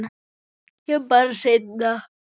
Kem bara seinna.